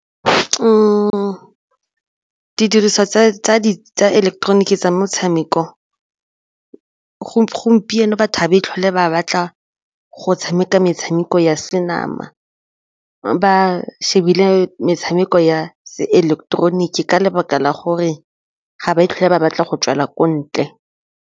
Didiriswa tsa ileketeroniki tsa metshameko gompieno batho ba tlhole ba batla go tshameka ka metshameko ya senama ba shebile metshameko ya ileketeroniki ka lebaka la gore ga ba tlhole ba batla go tswela ko ntle.